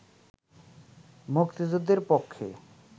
মুক্তিযুদ্ধের পক্ষে